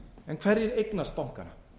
en hverjir eignast bankana